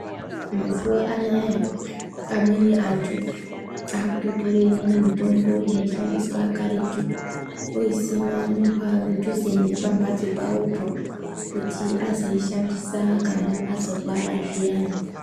Mazuva anaya amweni antu akuto tore imweni mitombo yai shandiswa karetu oyi sima padhuze nepa mbatso pawopo kuti azoi shandisa kana azorwara zviyani.